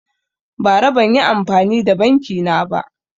Bara banyi amfani da banki na ba